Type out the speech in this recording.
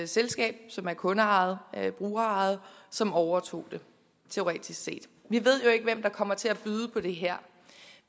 selskab som er kundeejet brugerejet som overtog det teoretisk set vi ved jo ikke hvem der kommer til at byde på det her